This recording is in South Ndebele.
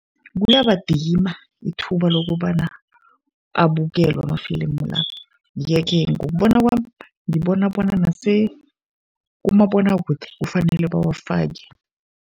Kuyabadima ithuba lokobana abukelwe amafilimu la. Ye-ke ngokubona kwami, ngibona bona kumabonwakude kufanele bawafake.